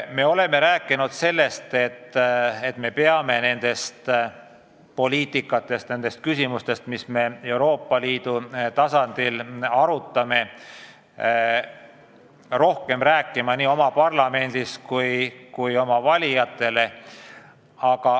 Me oleme rääkinud sellest, et me peame nendest poliitikatest, nendest küsimustest, mida me Euroopa Liidu tasandil arutame, rohkem rääkima nii oma parlamendis kui oma valijatele.